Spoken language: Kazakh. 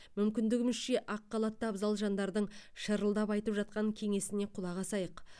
мүмкіндігімізше ақ халатты абзал жандардың шырылдап айтып жатқан кеңесіне құлақ асайық